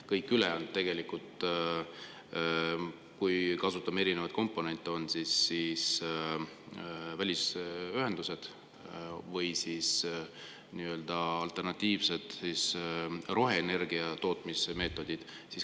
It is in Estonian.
Kõik ülejäänud, kui kasutame erinevaid komponente, on välisühendused, või siis alternatiivsed roheenergia tootmismeetodid.